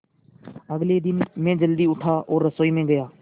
अगले दिन मैं जल्दी उठा और रसोई में गया